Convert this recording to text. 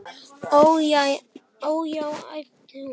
Ó, já, æpti hún.